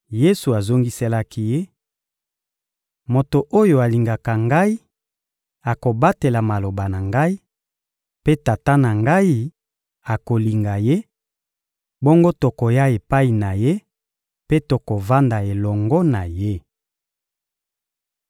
Yesu azongiselaki ye: — Moto oyo alingaka Ngai akobatela maloba na Ngai, mpe Tata na Ngai akolinga ye; bongo tokoya epai na ye mpe tokovanda elongo na ye.